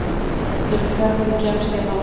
Hildur, hvernig kemst ég þangað?